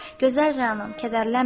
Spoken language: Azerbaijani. Gözəl Rəanam, kədərlənmə.